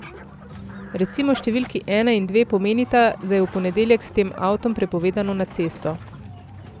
Recimo številki ena in dve pomenita, da je v ponedeljek s tem avtom prepovedano na cesto.